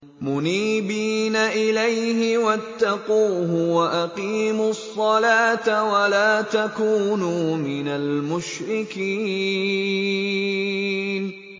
۞ مُنِيبِينَ إِلَيْهِ وَاتَّقُوهُ وَأَقِيمُوا الصَّلَاةَ وَلَا تَكُونُوا مِنَ الْمُشْرِكِينَ